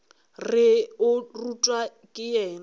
re o rutwa ke yena